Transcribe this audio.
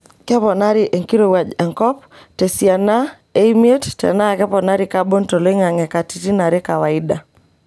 Keponari enkirowuajj enkop tesiana e imiet tenaa keponari kabon toloingange katitin are kawaida .